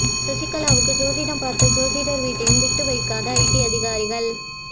சசிகலாவுக்கு ஜோதிடம் பார்த்த ஜோதிடர் வீட்டையும் விட்டு வைக்காத ஐடி அதிகாரிகள்